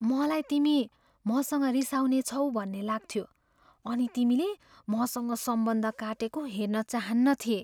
मलाई तिमी मसँग रिसाउनेछौ भन्ने लाग्थ्यो अनि तिमीले मसँग सम्बन्ध काटेको हेर्न चाहन्नथिएँ।